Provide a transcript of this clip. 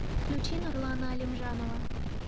включи нурлана алимжанова